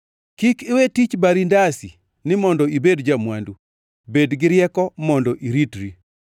Kik iwe tich bari ndasi ni mondo ibed ja-mwandu, bed gi rieko mondo iritri.